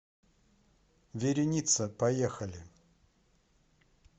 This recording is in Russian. вереница поехали